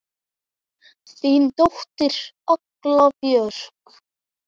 Þín dóttir, Agla Björk.